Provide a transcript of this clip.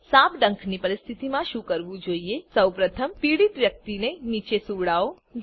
સાપ ડંખની પરિસ્થિતિમાં શું કરવું જોઈએ સૌપ્રથમ પીડિત વ્યક્તિને નીચે સુવડાવો